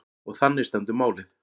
Og þannig stendur málið.